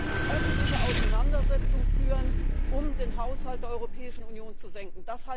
die öffentliche Auseinandersetzung führen, um den Haushalt der Europäischen Union zu senken.